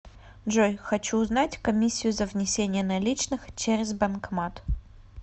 джой хочу узнать комиссию за внесение наличных через банкомат